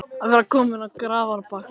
Að vera kominn á grafarbakkann